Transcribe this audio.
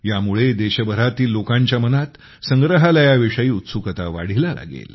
यामुळे देशभरातील लोकांच्या मनात संग्रहालयाविषयी उत्सुकता वाढीला लागेल